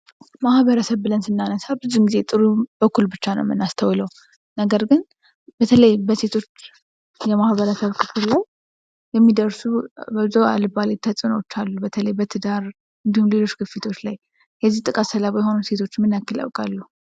ማህበረሰብ ብለን ስናነሳ ብዙውን ጊዜ ጥሩውን በኩል ነው የምናነሳው ነገር ግን በተለይም በሴቶች የማህበረሰብ ክፍል ላይ የሚደርሱ አልባሌ ተጽዕኖዎች አሉ በተለይ በትዳር እንድሁም ሌሎች ግፊቶች ላይ የዚህ ጥቃት ሰለባ የሆኑ ሴቶች ምን ያክል ያውቃሉ?